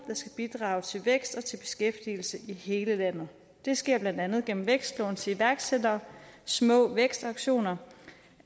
der skal bidrage til vækst og til beskæftigelse i hele landet det sker blandt andet gennem vækstlån til iværksættere små vækstaktioner